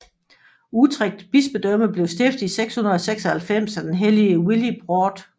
Utrecht bispedømme blev stiftet i 696 af den hellige Willibrord